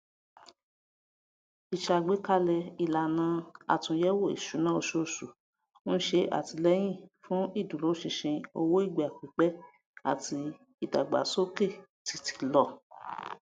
ìṣàgbékalẹ ìlànà àtúnyẹwò ìṣúná oṣooṣù ń ṣe àtìlẹyìn fún ìdúróṣinṣin owó ìgbà pípẹ àti ìdàgbàsókè títílọ